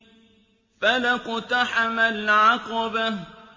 فَلَا اقْتَحَمَ الْعَقَبَةَ